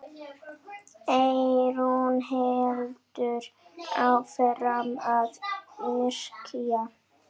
Eyrún heldur áfram að yrkja.